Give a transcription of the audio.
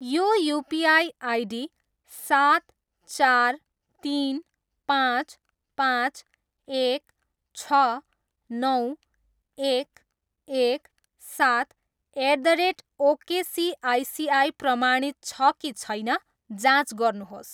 यो UPI ID सात, चार, तिन, पाँच, पाँच, एक, छ, नौ, एक, एक, सात, एट द रेट ओकेसिआइसिआई प्रमाणित छ कि छैन जाँच गर्नुहोस्।